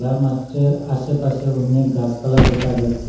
আর মাস্ঠের আশেপাশে অনেক গাসপালা দেখা যাচ্ছে।